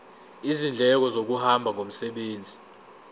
izindleko zokuhamba ngomsebenzi